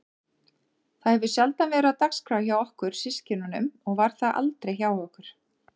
Það hefur sjaldan verið á dagskrá hjá okkur systkinunum og var það aldrei hjá okkur